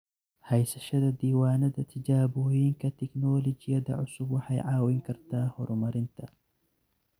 Haysashada diiwaannada tijaabooyinka tignoolajiyada cusub waxay caawin kartaa horumarinta.